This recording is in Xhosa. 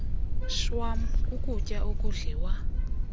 shwam kukutya okudliwa